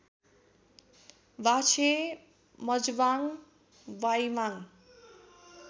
बाछे मजबाङ बाइबाङ